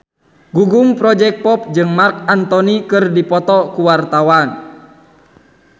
Gugum Project Pop jeung Marc Anthony keur dipoto ku wartawan